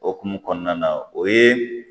Okumu kɔnɔna na o ye